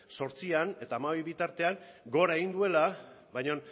zortzian eta hamabi bitartean gora egin duela baina